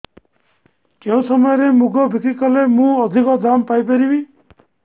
କେଉଁ ସମୟରେ ମୁଗ ବିକ୍ରି କଲେ ମୁଁ ଅଧିକ ଦାମ୍ ପାଇ ପାରିବି